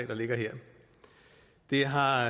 der ligger her det har